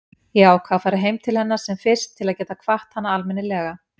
Ég ákvað að fara heim til hennar sem fyrst til að geta kvatt hana almennilega.